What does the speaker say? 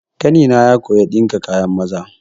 Ƙanina ya koya ɗinka kayan maza.